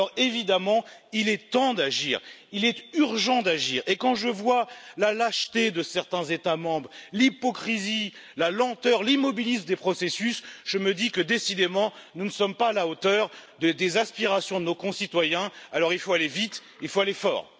Évidemment, il est temps d'agir, il est urgent d'agir, et quand je vois la lâcheté de certains États membres, l'hypocrisie, la lenteur, l'immobilisme des processus, je me dis que, décidément, nous ne sommes pas à la hauteur des aspirations de nos concitoyens, alors il faut aller vite, il faut aller fort.